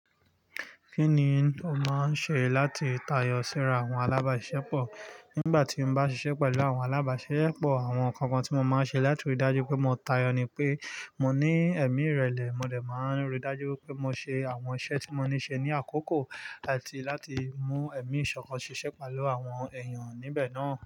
Kí ni o máa ń ṣe láti tayọ síra àwọn alábàáṣisepọ̀? Nígbà tí n bá ṣiṣẹ́ pẹ̀lú àwọn alábàáṣisepọ̀, àwọn nǹkan kan tí mo máa ń ṣe láti ríi dájú pé mo tayọ ni pé mo ní ẹ̀mí ìrẹ̀lẹ̀, mo dè máa ń ríi dájú wipé mo ṣe àwọn iṣẹ́ tí mo ní ṣe ní àkókò láti láti mú ẹ̀mí ìṣọ̀kan ṣiṣẹ́ pẹ̀lú àwọn èèyàn níbẹ̀ náà.